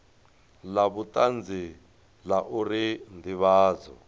la vhutanzi la uri ndivhadzo